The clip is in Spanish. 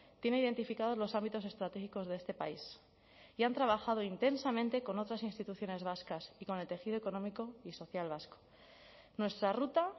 tiene identificados los ámbitos estratégicos de este país y han trabajado intensamente con otras instituciones vascas y con el tejido económico y social vasco nuestra ruta